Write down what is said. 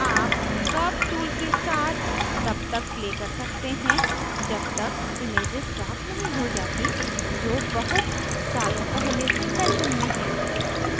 आप curves tool के साथ तब तक play कर सकते हैं जब तक images प्राप्त नहीं हो जाती जो बहुत सालों पहले से fashion में हैं